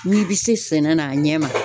N'i be se sɛnɛ na a ɲɛ ma